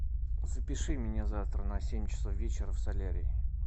запиши меня завтра на семь часов вечера в солярий